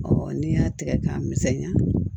n'i y'a tigɛ k'a misɛnya